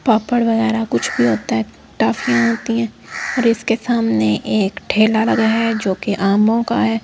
पापड़ वगैरह कुछ भी होता है टाफियां आती हैं और इसके सामने एक ठेला लगाया है जो कि आमों का है।